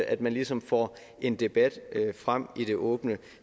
at man ligesom får en debat frem i det åbne